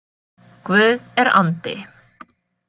Guð er andi.